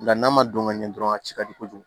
Nka n'a ma don ka ɲɛ dɔrɔn a ci ka di kojugu